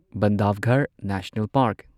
Bandhavgarh National park